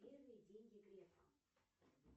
первые деньги грефа